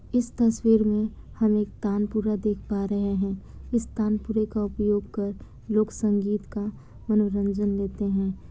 इस तस्वीर मे हम एक तानपुरा देख पा रहे है इस तानपुरे का उपयोग कर लोग संगीत का मनोरंजन लेते है।